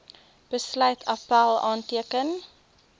besluit appèl aanteken